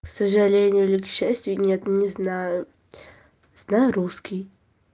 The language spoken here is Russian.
к сожалению или к счастью нет не знаю знаю русский